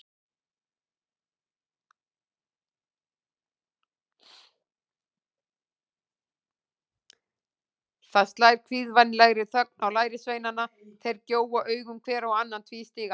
Það slær kvíðvænlegri þögn á lærisveinana, þeir gjóa augunum hver á annan tvístígandi.